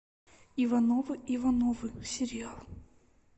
ивановы ивановы сериал